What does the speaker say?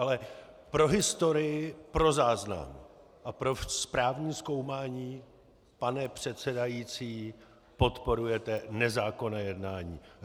Ale pro historii, pro záznam a pro správní zkoumání - pane předsedající, podporujete nezákonné jednání.